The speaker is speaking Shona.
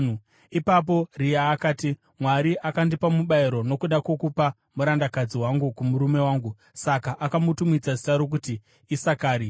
Ipapo Rea akati, “Mwari akandipa mubayiro nokuda kwokupa murandakadzi wangu kumurume wangu.” Saka akamutumidza zita rokuti Isakari.